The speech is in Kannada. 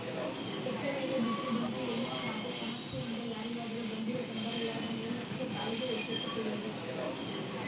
ಕೆಟ್ಟಮೇಲೆ ಬುದ್ಧಿ ಬಂತು ಎನ್ನುವ ಹಾಗೆ ಸಮಸ್ಯೆಯಿಂದ ಯಾರಿಗಾದರು ಗಂಭೀರ ತೊಂದರೆಯಾದ ಮೇಲಷ್ಟೇ ಪಾಲಿಕೆ ಎಚ್ಚೆತ್ತುಕೊಳ್ಳುವುದು